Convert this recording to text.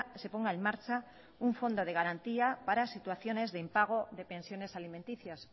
se ponga en marcha un fondo de garantía para situaciones de impago de pensiones alimenticias